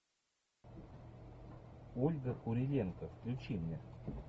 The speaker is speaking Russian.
ольга куриленко включи мне